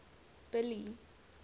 billy